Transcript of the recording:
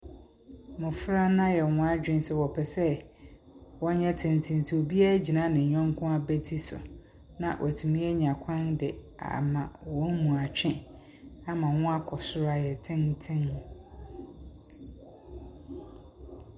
Mmɔfra no ayɛ wɔn adwene sɛ wɔpɛ sɛ wɔyɛ tenten nti obiara agyina ne yɔnko abati so, na wɔatumi anya kwan de ama wɔn mu atwe ama wɔkɔ soro ayɛ tenten.